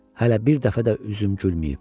Hələ bir dəfə də üzüm gülməyib.